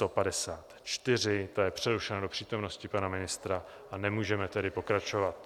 Ta je přerušena do přítomnosti pana ministra, a nemůžeme tedy pokračovat.